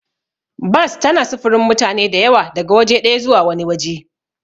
Bas tana sufurin mutane da yawa daga waje ɗaya zuwa wani waje.